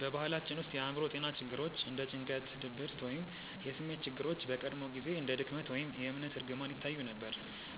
በባህላችን ውስጥ የአእምሮ ጤና ችግሮች እንደ ጭንቀት፣ ድብርት ወይም የስሜት ችግሮች በቀድሞ ጊዜ እንደ ድክመት ወይም የእምነት እርግማን ይታዩ ነበር።